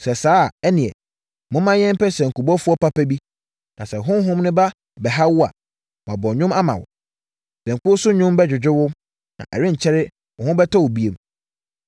Sɛ saa a, ɛnneɛ, momma yɛmpɛ sankubɔfoɔ papa bi, na sɛ honhom no ba bɛha wo a, wabɔ nnwom ama wo. Sankuo so nnwom bɛdwodwo wo. Na ɛrenkyɛre, wo ho bɛtɔ wo bio.”